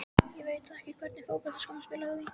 Ég veit það ekki Í hvernig fótboltaskóm spilar þú?